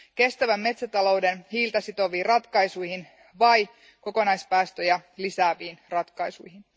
Kestävän metsätalouden hiiltä sitoviin ratkaisuihin vai kokonaispäästöjä lisääviin ratkaisuihin?